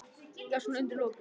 Já, svona undir lokin.